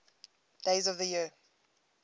days of the year